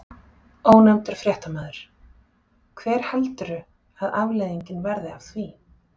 Ónefndur fréttamaður: Hver heldurðu að afleiðingin verði af því?